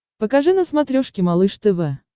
покажи на смотрешке малыш тв